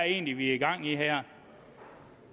egentlig vi har gang i her